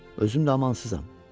Özüm də amansızam.